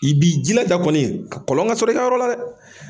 I b'i jilaja kɔni kɔlɔn ka sɔrɔ i ka yɔrɔ la dɛ!